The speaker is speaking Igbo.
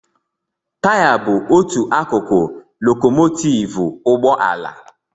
Taya bụ otu akụkụ lokòmòtivú ụgbọ ala